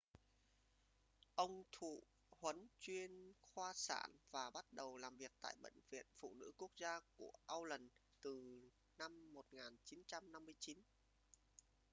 ông thụ huấn chuyên khoa sản và bắt đầu làm việc tại bệnh viện phụ nữ quốc gia của auckland từ năm 1959